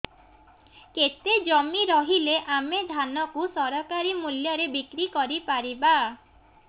କେତେ ଜମି ରହିଲେ ଆମେ ଧାନ କୁ ସରକାରୀ ମୂଲ୍ଯରେ ବିକ୍ରି କରିପାରିବା